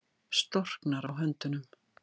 Storknar á höndunum.